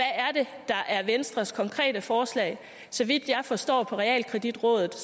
der er venstres konkrete forslag så vidt jeg forstår på realkreditrådet